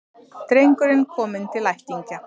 Drengurinn kominn til ættingja